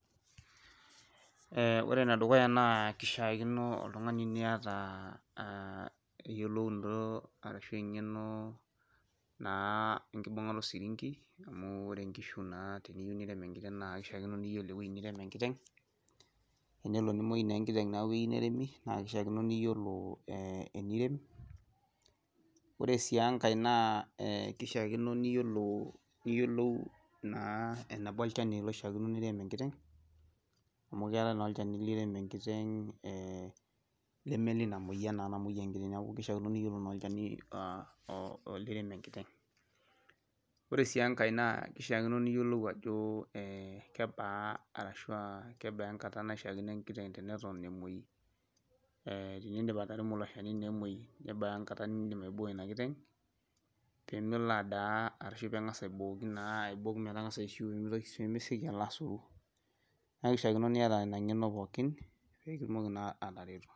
Ore ene dukuya naa keishaakino oltungani niata eyiolounoto arashu eng'eno naa enkibungata osirinki, iyiolo ewueji nirem enkiteng', teneli nemuoyi enkiteng' neyieu naa neremi naa keishaakino niyiolo enirem, ore sii enkae naa kishakino niyiolou naa eneba olchani loishakino nirem enkiteng', amu keetae naa olchani, kiremi enkiteng' lemme oleina moyian lirem enkiteng'. Ore sii enkae naa kishakino ajo kebaa, arashu aa kebaa enkata naishaakino enkiteng' teneton emuoi, tenidip ataremoki ilo Shani naa eton emuoi kebaa erishata nidim aiboo Ina kiteng pee melo adaa, arashu pee engas aibooki naa, pee , neeku kaishakino niyata Ina ng'eno pookin pee itumoki naa atareto.